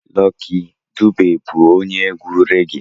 Lucky Dube bụ onye egwu regie